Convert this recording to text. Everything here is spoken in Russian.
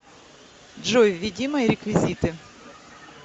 джой введи мои реквизиты